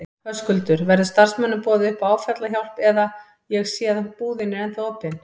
Höskuldur: Verður starfsmönnum boðið upp á áfallahjálp eða, ég sé að búðin er ennþá opin?